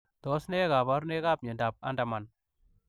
Tos nee kabarunaik ap miondoop Andermann